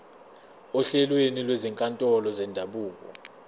ohlelweni lwezinkantolo zendabuko